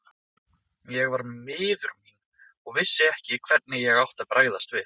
Ég var miður mín og vissi ekki hvernig ég átti að bregðast við.